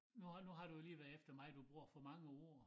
Nu har nu har du jo lige været efter mig du bruger for mange ord